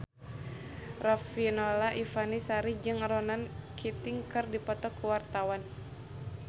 Riafinola Ifani Sari jeung Ronan Keating keur dipoto ku wartawan